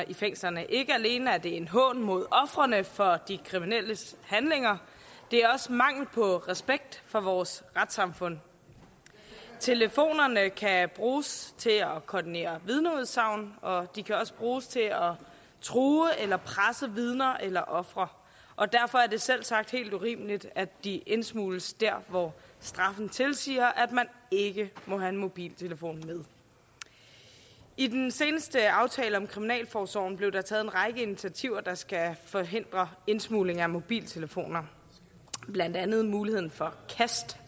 i fængslerne ikke alene er det en hån mod ofrene for de kriminelle handlinger det er også mangel på respekt for vores retssamfund telefonerne kan bruges til at koordinere vidneudsagn og de kan også bruges til at true eller presse vidner eller ofre og derfor er det selvsagt helt urimeligt at de indsmugles der hvor straffen tilsiger at man ikke må have en mobiltelefon med i den seneste aftale om kriminalforsorgen blev der taget en række initiativer der skal forhindre indsmugling af mobiltelefoner blandt andet muligheden for